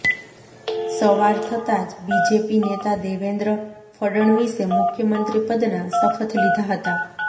સવાર થતાં જ બીજેપી નેતા દેવેન્દ્ર ફડણવીસે મુખ્યમંત્રી પદનાં શપથ લીધા હતા